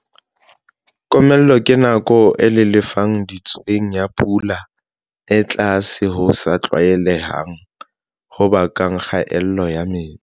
Komello ke nako e lelefa ditsweng ya pula e tlase ho sa tlwaelehang ho bakang kgaello ya metsi.